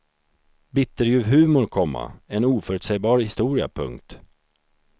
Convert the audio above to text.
Bitterljuv humor, komma en oförutsägbar historia. punkt